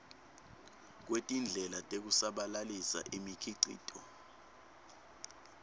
kwetindlela tekusabalalisa imikhicito